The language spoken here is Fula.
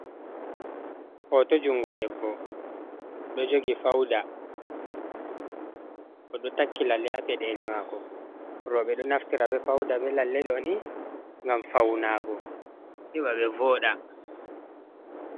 Hoto jungo debbo do jogi fauda, odo takki lalle, ha peɗeli mako, roɓe ɗo naftira ɓe fauda ɓe lalle doni ngam fauna go heɓa ɓe voɗa.